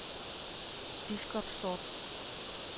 Biskopstorp